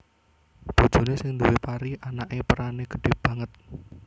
Bojoné sing duwé pari anaké perané gedhé banget